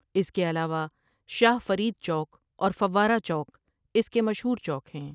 اس کے علاوہ شاہ فرید چوک اور فوارہ چوک اس کے مشہور چوک ہیں ۔